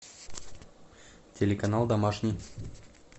телеканал домашний